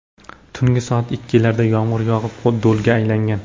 Tungi soat ikkilarda yomg‘ir yog‘ib, do‘lga aylangan.